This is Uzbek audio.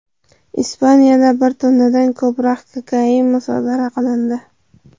Ispaniyada bir tonnadan ko‘proq kokain musodara qilindi.